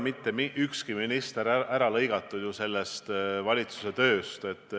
Mitte ükski minister ei ole valitsuse tööst ära lõigatud.